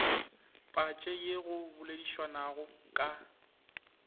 patše ye go boledišwanago ka